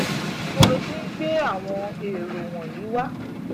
níbo ló ti ń gbé àwọn èrò wọ̀nyẹn wá